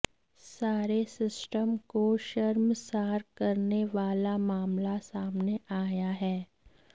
सारे सिस्टम को शर्मसार करने वाला मामला सामने आया है